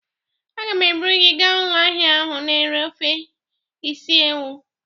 Agam eburu gi gaa ulo ahia ahu na ere ofe isi ewu